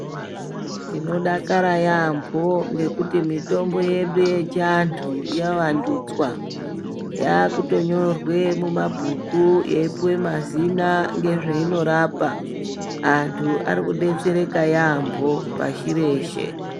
Tinodakara yaampho ngekuti mitombo yedu yechiantu yavandudzwa. Yaakutonyorwe mumabhuku yeipuwe mazina ngezveinorapa. Antu ari kudetsereka yaampho pashi reshe.